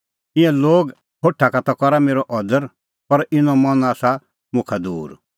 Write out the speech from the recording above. ईंयां लोग होठा का ता करा मेरअ अदर पर इनो मन आसा मुखा दूर